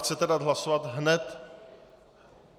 Chcete dát hlasovat hned?